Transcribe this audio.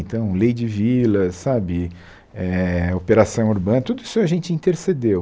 Então, lei de vila, sabe, eh operação urbana, tudo isso a gente intercedeu.